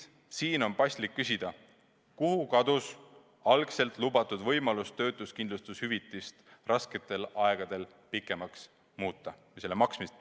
Seega on paslik küsida: kuhu kadus algselt lubatud võimalus töötuskindlustushüvitise maksmist rasketel aegadel pikemaks muuta?